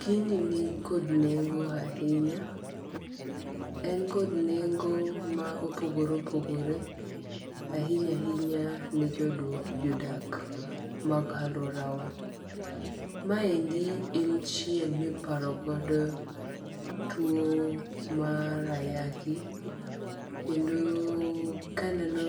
Gini nikog nengo' ahinya, en kod nengo' ma opogore opogore ahinya hinya ne jodak mag aluorawa, maendi en chieng' miparogodo two marayaki kendo kaneno